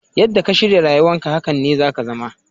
Yadda ka shirya rayuwan ka, hakanan ne za ka zama.